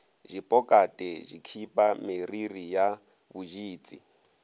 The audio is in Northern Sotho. dipokate dikhipa meriri ya boditsi